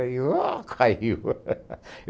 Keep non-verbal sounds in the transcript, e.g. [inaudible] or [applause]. Aí, ó, caiu. [laughs]